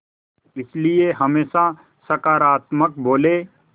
इसलिए हमेशा सकारात्मक बोलें